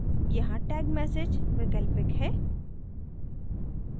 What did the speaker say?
यहाँ tag message वैकल्पिक है